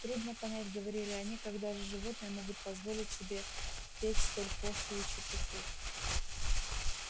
трудно понять говорили они как даже животные могут позволить себе петь столь пошлую чепуху